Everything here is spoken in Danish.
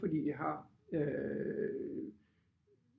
Fordi jeg har øh